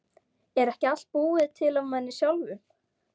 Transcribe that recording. Er ekki allt búið til af manni sjálfum?